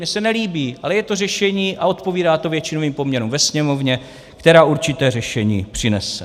Mně se nelíbí, ale je to řešení a odpovídá to většinovým poměrům ve Sněmovně, která určité řešení přinese.